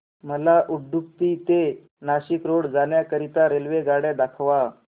मला उडुपी ते नाशिक रोड जाण्या करीता रेल्वेगाड्या दाखवा